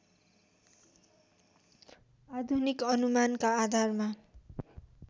आधुनिक अनुमानका आधारमा